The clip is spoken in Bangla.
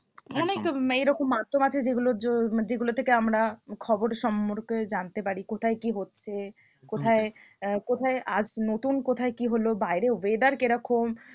একদম অনেক এরকম মাধ্যম আছে যেগুলোর মানে যেগুলো থেকে আমরা খবর সম্পর্কে জানতে পারি কোথায় কি হচ্ছে হম কোথায় আহ কোথায় আজ নতুন কোথায় কি হলো বাইরে weather কিরকম